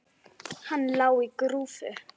Hann lá á grúfu.